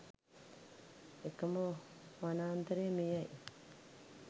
එකම වනාන්තරය මෙය යි